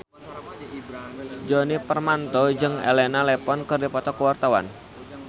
Djoni Permato jeung Elena Levon keur dipoto ku wartawan